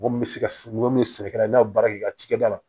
Mɔgɔ min bɛ se ka mɔgɔ min sɛnɛ kɛrɛ na baara kɛ cakɛda la